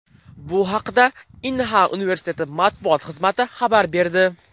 Bu haqda Inha universiteti matbuot xizmati xabar berdi .